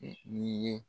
N'i ye